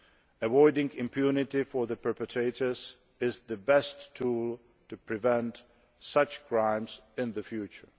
Avoiding impunity for the perpetrators is the best tool to prevent such crimes in the future.